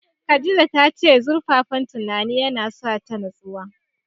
Khadija ta ce zurfaffen tunanin ya na sa ta natsuwa